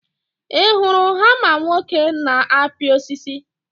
ị hụrụ hama nwoke na-apị osisi?